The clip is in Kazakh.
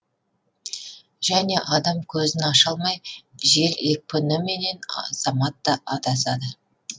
және адам көзін аша алмай жел екпініменен азаматта адасады